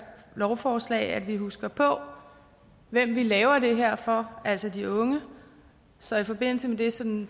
lovforslag at vi husker på hvem vi laver det her for altså de unge så i forbindelse med det som